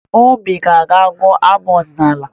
Obi a ga-agụ abụ ọdịnaala?